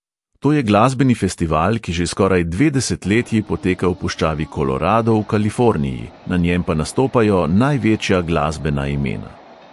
To je glasbeni festival, ki že skoraj dve desetletji poteka v puščavi kolorado v kaliforniji, na njem pa nastopajo največja glasbena imena.